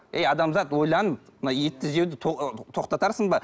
әй адамзат ойлан мына етті жеуді тоқтатарсың ба